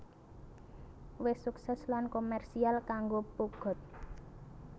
wis sukses lan komersial kanggo Peugeot